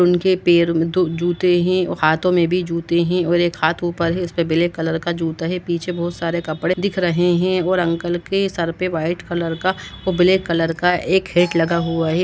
उनके पैर में दो जूते हैं और हाथों में भी जूते हैं और एक हाथों पर है उस पे ब्लैक कलर का जूता है पीछे बहुत सारे कपड़े दिख रहे हैं और अंकल के सर पे व्हाइट कलर का और ब्लैक कलर का एक हैट लगा हुआ है।